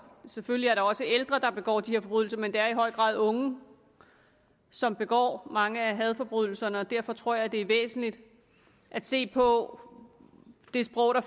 selvfølgelig også ældre der begår de her forbrydelser men det er i høj grad unge som begår mange af hadforbrydelserne derfor tror jeg det er væsentligt at se på det sprog der